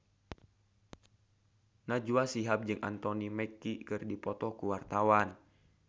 Najwa Shihab jeung Anthony Mackie keur dipoto ku wartawan